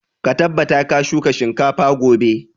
Ka tabbata ka shuka shinkafa gobe!